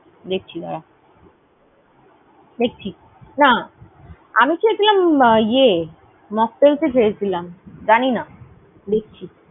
দেখছি দ্বারা, দেখছি। না, আমি খেয়েছিলাম, ইয়ে Mocktails খেয়েছিলাম। জানি না, দেখছি।